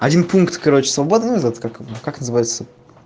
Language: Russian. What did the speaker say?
один пункт короче свободный называется как как называется